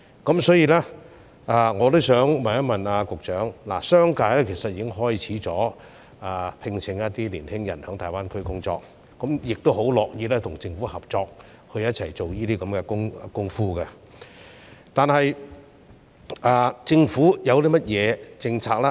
就此，我想問局長，商界其實已開始聘請青年人在大灣區工作，亦十分樂意跟政府合作，共同推廣有關工作，但政府有甚麼政策呢？